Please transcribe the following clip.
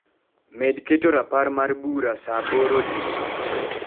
Med keto rapar mar bura saa aboro odiechieng'.